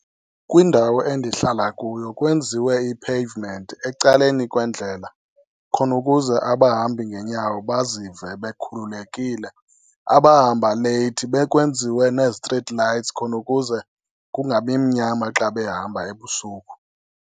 Kwindawo endihlala kuyo kwenziwe i-pavement ecaleni kwendlela khona ukuze abahambi ngenyawo bazive bekhululekile. Abahamba leyithi, bekwenziwe nee-street lights khona ukuze kungabi mnyama xa behamba ebusuku.